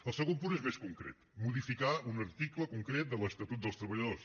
el segon punt és més concret modificar un article concret de l’estatut dels treballadors